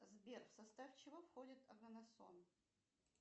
сбер в состав чего входит аганасон